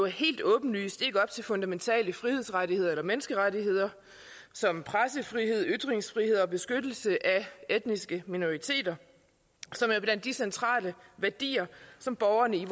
helt åbenlyst ikke fundamentale frihedsrettigheder eller menneskerettigheder som pressefrihed ytringsfrihed og beskyttelse af etniske minoriteter som er blandt de centrale værdier som borgerne i